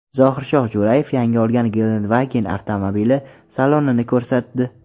Zohirshoh Jo‘rayev yangi olgan Gelandewagen avtomobili salonini ko‘rsatdi.